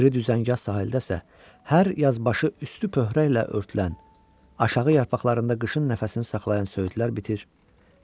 O biri düzəngah sahildə isə hər yazbaşı üstü pöhrəylə örtülən, aşağı yarpaqlarında qışın nəfəsini saxlayan söyüdlər bitir.